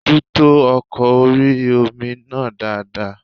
Bojútó ọkọ̀ orí-omi náà dáadáa